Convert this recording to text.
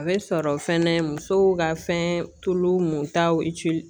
A bɛ sɔrɔ fɛnɛ musow ka fɛn tulu muntaw